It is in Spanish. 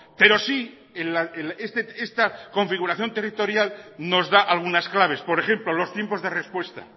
pero sí esta configuración territorial nos da algunas claves por ejemplo los tiempos de respuesta